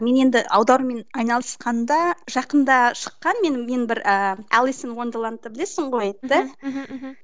мен енді аударумен айналысқанда жақында шыққан менің мен бір ыыы білесің ғой да мхм